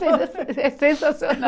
É sensacional